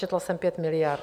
Četla jsem 5 miliard.